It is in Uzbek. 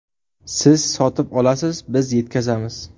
Siz sotib olasiz, biz yetkazamiz!